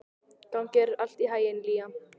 Gangi þér allt í haginn, Liam.